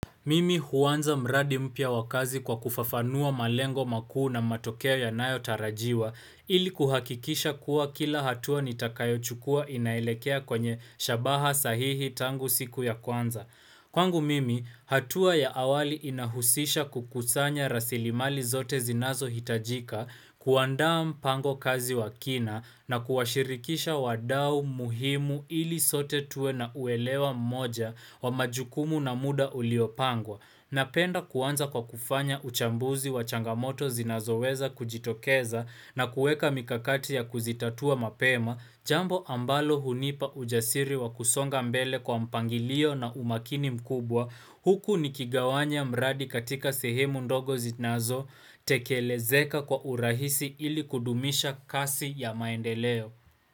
Mimi huanza mradi mpya wakazi kwa kufafanua malengo makuu na matokeo ya nayo tarajiwa ili kuhakikisha kuwa kila hatua nitakayo chukua inaelekea kwenye shabaha sahihi tangu siku ya kwanza. Kwangu mimi, hatua ya awali inahusisha kukusanya rasilimali zote zinazo hitajika kuandaa mpango kazi wakina na kuwashirikisha wadau muhimu ili sote tuwe na uelewa mmoja wa majukumu na muda uliopangwa. Napenda kuanza kwa kufanya uchambuzi wa changamoto zinazo weza kujitokeza na kueka mikakati ya kuzitatua mapema, jambo ambalo hunipa ujasiri wa kusonga mbele kwa mpangilio na umakini mkubwa huku nikigawanya mradi katika sehemu ndogo zinazo tekelezeka kwa urahisi ili kudumisha kasi ya maendeleo.